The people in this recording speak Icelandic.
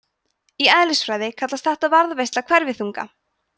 í eðlisfræði kallast þetta varðveisla hverfiþunga